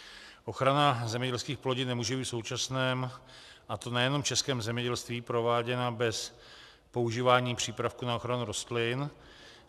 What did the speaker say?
Ochrana zemědělských plodin nemůže být v současném, a to nejenom v českém, zemědělství prováděna bez používání přípravků na ochranu rostlin.